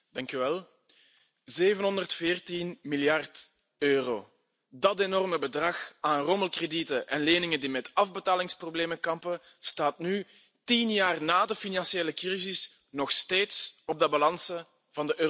Voorzitter, 714 miljard euro! Dat enorme bedrag aan rommelkredieten en leningen die met afbetalingsproblemen kampen, staat nu tien jaar na de financiële crisis nog steeds op de balansen van de Europese banken.